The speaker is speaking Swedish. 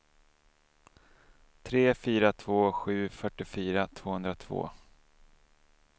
tre fyra två sju fyrtiofyra tvåhundratvå